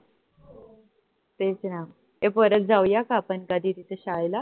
तेच ना ए परत जाऊया का आपण कधी तिथे शाळेला